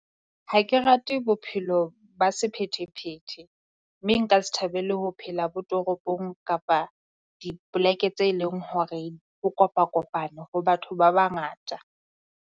Ha ke rate bophelo ba sephethephethe, mme nka se thabele ho phela bo toropong kapa dipoleke tse leng hore ho kopa-kopane ho batho ba bangata.